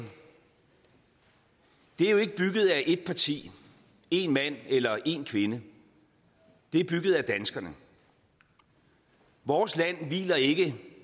er jo ikke bygget af ét parti én mand eller én kvinde det er bygget af danskerne vores land hviler ikke